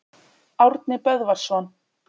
Árni Böðvarsson.